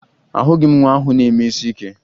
Ahụghị m nwa ahụ na-eme isi ike